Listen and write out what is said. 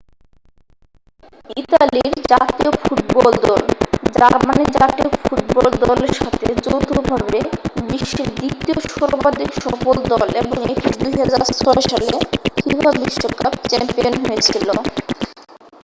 ইতালির জাতীয় ফুটবল দল জার্মান জাতীয় ফুটবল দলের সাথে যৌথভাবে বিশ্বের দ্বিতীয় সর্বাধিক সফল দল এবং এটি 2006 সালে ফিফা বিশ্বকাপ চ্যাম্পিয়ন হয়েছিল